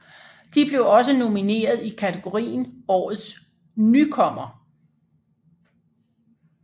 De blev også nomineret i kategorien årets nykommer